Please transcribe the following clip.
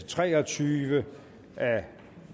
tre og tyve af